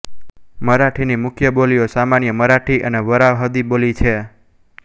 મરાઠીની મુખ્ય બોલીઓ સામાન્ય મરાઠી અને વરાહદી બોલી છે